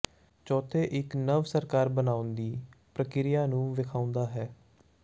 ਚੌਥੇ ਇੱਕ ਨਵ ਸਰਕਾਰ ਬਣਾਉਣ ਦੀ ਪ੍ਰਕਿਰਿਆ ਨੂੰ ਵੇਖਾਉਦਾ ਹੈ